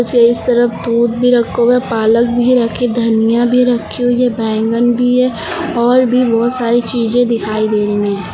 के इस तरफ दूध भी रखा हुआ है पालक भी रखी धनिया भी रखी हुई है बैगन भी है और भी बहोत सारी चीजे दिखाई दे रही है।